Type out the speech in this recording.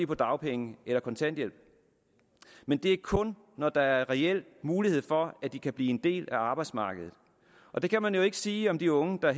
på dagpenge eller kontanthjælp men det er kun i når der er reel mulighed for at de kan blive en del af arbejdsmarkedet og det kan man jo ikke sige om de unge der